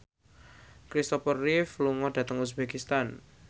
Christopher Reeve lunga dhateng uzbekistan